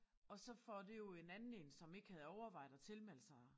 Og så får det jo en anden én som ikke havde overvejet at tilmelde sig